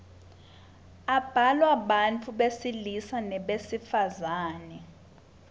ablalwa bantfu besilisa nebesifazang